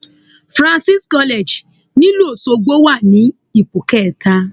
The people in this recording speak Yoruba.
francis college nílùú ọṣọgbó wa ní ipò kẹta